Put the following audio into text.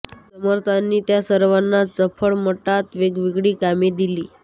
समर्थांनी त्या सर्वांना चाफळ मठात वेगवेगळी कामे दिली